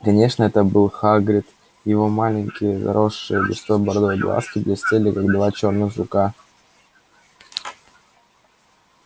конечно это был хагрид его маленькие заросшие густой бородой глазки блестели как два черных жука